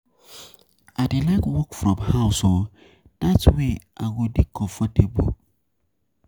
I dey like work from house oo, dat way I go dey comfortable.